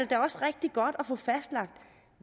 da også rigtig godt at få fastlagt